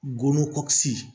Golo kɔ kisi